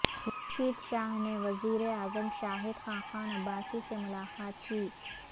خورشید شاہ نے وزیر اعظم شاہد خاقان عباسی سے ملاقات کی